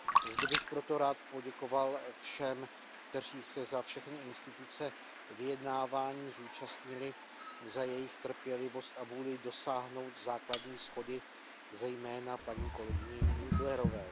Zde bych proto rád poděkoval všem, kteří se za všechny instituce vyjednávání zúčastnili, za jejich trpělivost a vůli dosáhnout základní shody, zejména paní kolegyni Nieblerové.